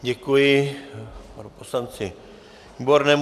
Děkuji poslanci Výbornému.